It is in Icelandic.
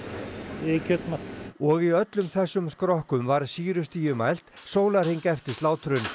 við kjötmat og í öllum þessum skrokkum var sýrustigið mælt sólarhring eftir slátrun